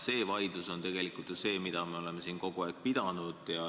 See on ju tegelikult see vaidlus, mida me oleme siin kogu aeg pidanud.